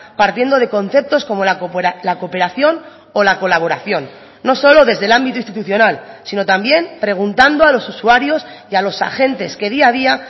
partiendo de conceptos como la cooperación o la colaboración no solo desde el ámbito institucional sino también preguntando a los usuarios y a los agentes que día a día